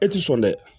E ti sɔn dɛ